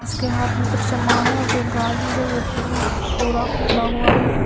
उसके हाथ में कुछ सामान है जो गाड़ी है वो पु पूरा खुला हुआ है।